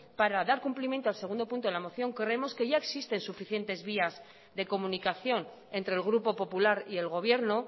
para dar cumplimiento al segundo punto de la moción creemos que ya existe suficientes vías de comunicación entre el grupo popular y el gobierno